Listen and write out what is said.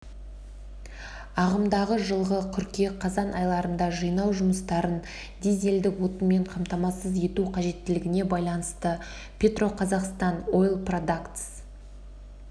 ағымдағы жылғы қыркүйек қазан айларында жинау жұмыстарын дизельдік отынмен қамтамасыз ету қажеттілігіне байланысты петроказахстан ойл продактс